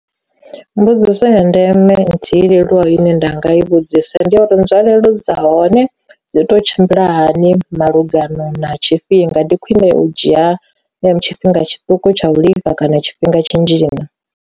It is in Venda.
Mbudziso ya ndeme nthihi leluwa ine nda nga i vhudzisa ndi uri nzwalelo dza hone dzi to tshimbila hani malugana na tshifhinga, ndi khwine u dzhia tshifhinga tshiṱuku tsha u lifha kana tshifhinga tshinzhi na.